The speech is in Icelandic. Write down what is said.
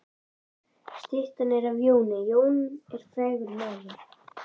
Styttan er af Jóni. Jón er frægur maður.